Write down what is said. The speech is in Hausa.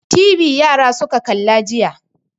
TV yara suka kalla jiya.